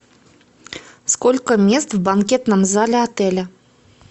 сколько мест в банкетном зале отеля